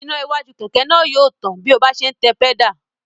Iná iwájú kẹ̀kẹ́ náà yóò tàn bí ọ bá ń se tẹ pẹ́dà